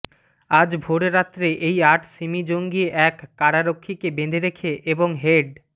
আজ ভোররাত্রে এই আট সিমি জঙ্গি এক করারক্ষীকে বেঁধে রেখে এবং হেড